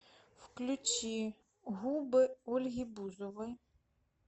включи губы ольги бузовой